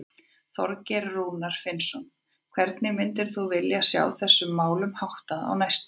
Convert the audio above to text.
Þorgeir Rúnar Finnsson: Hvernig myndir þú vilja sjá þessum málum háttað á næstunni?